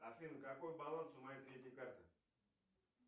афина какой баланс у моей третьей карты